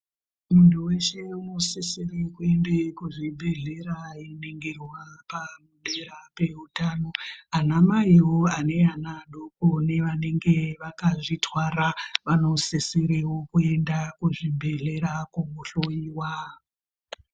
Munhu unosisire kuenda kuzvibhedhlera einingirwa padera peutano. Ana maiwo ane ana adoko nevanenge vakazvitwara vanosisire kuenda kuzvibhedhlera kunohlowiwa.